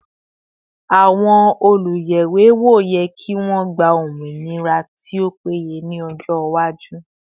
Àwọn oluyẹwewo yẹ kí wọn gba ominira tí ó péye ni ọjọ iwaju